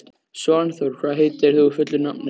Svanþór, hvað heitir þú fullu nafni?